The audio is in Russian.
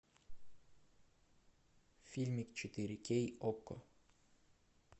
фильмик четыре кей окко